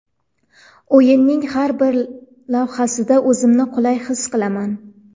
O‘yinning har bir lahzasida o‘zimni qulay his qilaman.